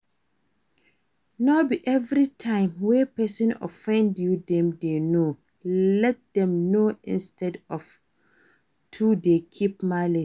No be everytime wey person offend you dem dey know, let them know instead of to dey keep malice